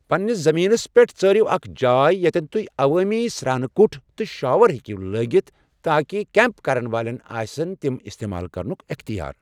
پننِس زٔمیٖنَس پٮ۪ٹھ ژٲرِو اکھ جاے ییٚتٮ۪ن تہۍ عوٲمی سرٛانہٕ کٹھ تہٕ شاور ہیٚکِو لٲگتھ تاکہ کیمٛپ کرن والٮ۪ن آسہ تِم استعمال کرنُک اختیار۔